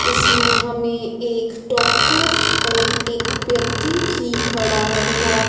इसमें हमें एक डॉक्टर और एक व्यक्ति भी खड़ा हुआ--